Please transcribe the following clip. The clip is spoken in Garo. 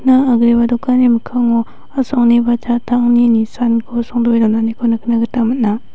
agreba dokanni mikkango a·songni ba jattangni nisanko songdoe donaniko nikna gita man·a.